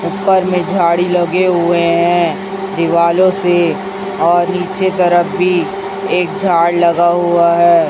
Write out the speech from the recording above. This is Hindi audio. ऊपर में झाड़ी लगे हुए हैं दीवालों से और नीचे तरफ भी एक झाड़ लगा हुआ है।